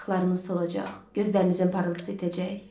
Yanaqlarınız solacaq, gözlərinizin parıltısı itəcək.